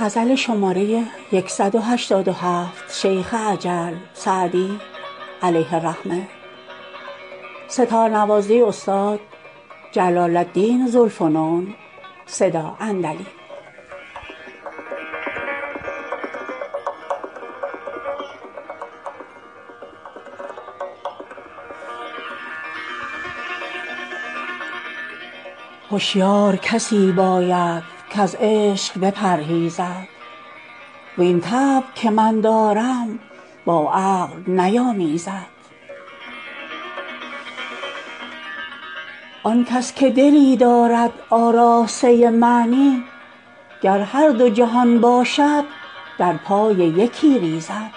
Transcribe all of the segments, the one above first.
هشیار کسی باید کز عشق بپرهیزد وین طبع که من دارم با عقل نیامیزد آن کس که دلی دارد آراسته معنی گر هر دو جهان باشد در پای یکی ریزد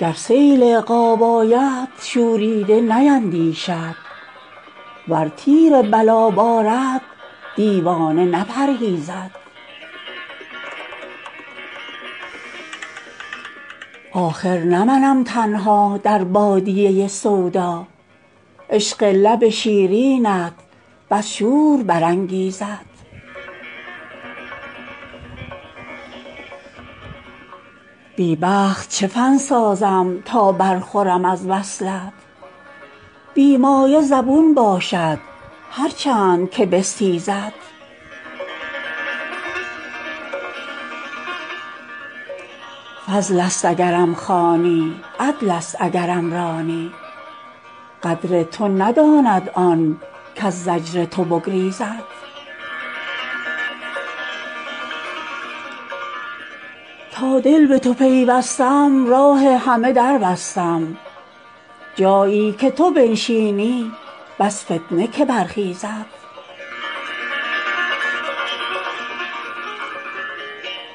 گر سیل عقاب آید شوریده نیندیشد ور تیر بلا بارد دیوانه نپرهیزد آخر نه منم تنها در بادیه سودا عشق لب شیرینت بس شور برانگیزد بی بخت چه فن سازم تا برخورم از وصلت بی مایه زبون باشد هر چند که بستیزد فضل است اگرم خوانی عدل است اگرم رانی قدر تو نداند آن کز زجر تو بگریزد تا دل به تو پیوستم راه همه در بستم جایی که تو بنشینی بس فتنه که برخیزد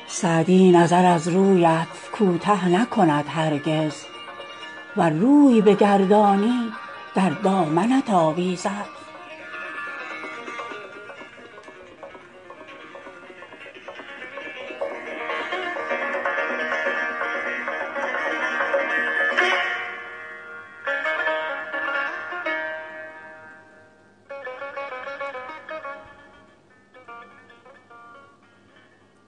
سعدی نظر از رویت کوته نکند هرگز ور روی بگردانی در دامنت آویزد